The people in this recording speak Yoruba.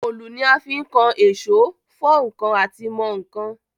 Òlù ni a fi ń kan èsó, fọ́ ǹkan àti mọ ǹkan.